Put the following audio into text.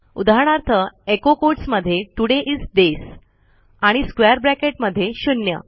उदाहरणार्थ echo quotes मध्ये today is days आणि स्क्वेअर ब्रॅकेट मध्ये शून्य